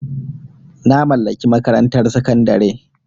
Na mallaki makarantar sakandare.